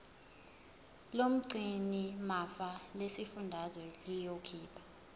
lomgcinimafa lesifundazwe liyokhipha